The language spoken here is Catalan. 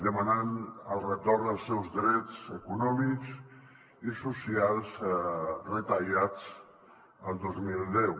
demanant el retorn dels seus drets econòmics i socials retallats el dos mil deu